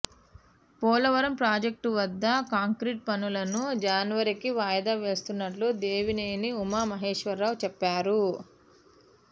Polavaram project వద్ద concrete పనులను జనవరికి వాయిదా వేస్తున్నట్లు దేవినేని ఉమా మహేశ్వరరావు చెప్పారు